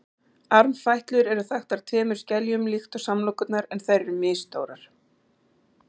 armfætlur eru þaktar tveimur skeljum líkt og samlokurnar en þær eru misstórar